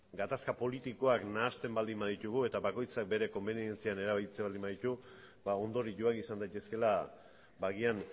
gehi gatazka politikoak nahasten baldin baditugu eta bakoitzak bere konbenientzian erabiltzen baldin baditu ondorioak izan daitezkeela agian